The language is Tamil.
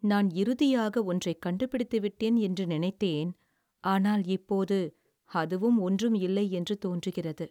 "நான் இறுதியாக ஒன்றைக் கண்டுபிடித்து விட்டேன் என்று நினைத்தேன், ஆனால் இப்போது அதுவும் ஒன்றும் இல்லை என்று தோன்றுகிறது."